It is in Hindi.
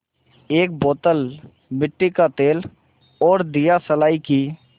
एक बोतल मिट्टी का तेल और दियासलाई की